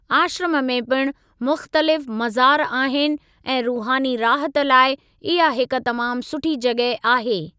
आश्रम में पिणु मुख़्तलिफ़ मज़ार आहिनि ऐं रूहानी राहत लाइ इहा हिक तमामु सुठी जॻह आहे।